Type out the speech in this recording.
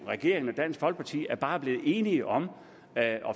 regeringen og dansk folkeparti bare er blevet enige om at